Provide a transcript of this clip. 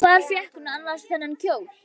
Hvar fékk hún annars þennan kjól?